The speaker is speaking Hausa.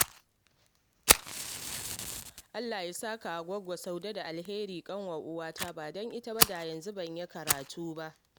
Allah ya saka wa Gwaggo Saudat da al-khairi, ƙanwar uwata ba don ita ba da yanzu ban yi karatu ba